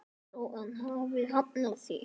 Þjóðin hafi hafnað því.